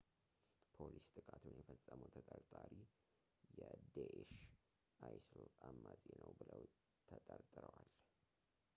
ፖሊስ ጥቃቱን የፈጸመው ተጠርጣሪ የዴእሽ isil አማጺ ነው ብለው ተጠርጥረዋል